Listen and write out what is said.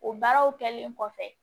O baaraw kɛlen kɔfɛ